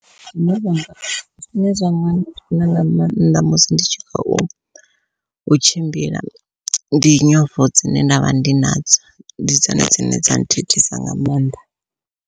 Zwine zwanga zwine zwanga dina nga maanḓa musi ndi tshi khou tshimbila ndi nyofho dzine ndavha ndi nadzo ndi dzone dzine dza thithisa nga maanḓa.